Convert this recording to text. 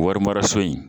Warimaraso in